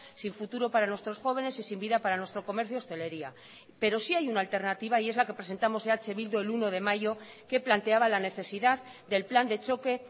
sin futuro para nuestros jóvenes y sin vida para nuestro comercio hostelería pero sí hay una alternativa y es la que presentamos eh bildu el uno de mayo que planteaba la necesidad del plan de choque